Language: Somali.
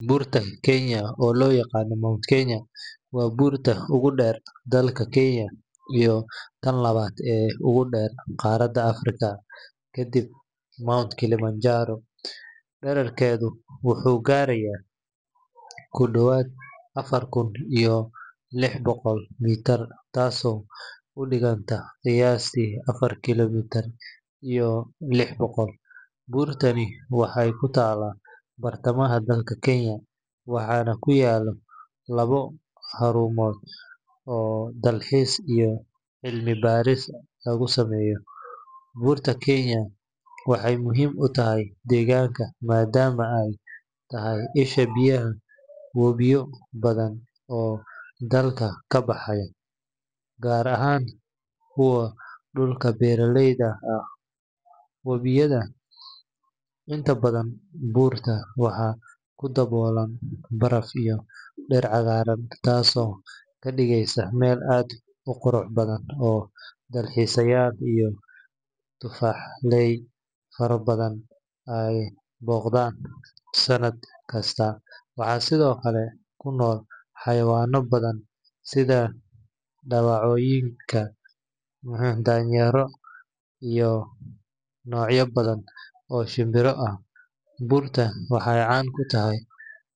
Buurta Kenya oo loo yaqaan Mount Kenya waa buurta ugu dheer dalka Kenya iyo tan labaad ee ugu dheer qaaradda Afrika kadib Mount Kilimanjaro. Dhererkeedu wuxuu gaarayaa ku dhowaad afar kun iyo lix boqol mitir taasoo u dhiganta qiyaastii afar kiilomitir iyo lix boqol. Buurtani waxay ku taallaa bartamaha dalka Kenya, waxaana ku yaalla labo xarumood oo dalxiis iyo cilmi baarisba lagu sameeyo. Buurta Kenya waxay muhiim u tahay deegaanka maadaama ay tahay isha biyaha webiyo badan oo dalka ka baxa, gaar ahaan kuwa dhulka beeraleyda ah waraabiya. Inta badan buurta waxaa ku daboolan baraf iyo dhir cagaaran, taasoo ka dhigaysa meel aad u qurux badan oo dalxiisayaal iyo tufaaxley faro badan ay booqdaan sanad kasta. Waxaa sidoo kale ku nool xayawaano badan sida dawacooyinka, daayeerka iyo noocyo badan oo shimbiro ah. Buurta waxaa caan ku tahay.